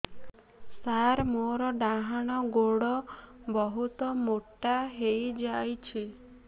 ସାର ମୋର ଡାହାଣ ଗୋଡୋ ବହୁତ ମୋଟା ହେଇଯାଇଛି